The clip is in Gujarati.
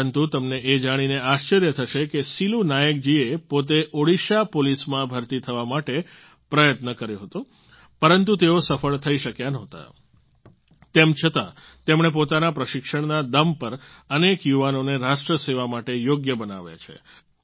પરંતુ તમને એ જાણીને આશ્ચર્ય થશે કે સિલૂ નાયક જીએ પોતે ઓડિશા પોલીસમાં ભરતી થવા માટે પ્રયત્ન કર્યો હતો પરંતુ તેઓ સફળ થઈ શક્યા નહોતા તેમ છતાં તેમણે પોતાના પ્રશિક્ષણના દમ પર અનેક યુવાનોને રાષ્ટ્રસેવા માટે યોગ્ય બનાવ્યા છે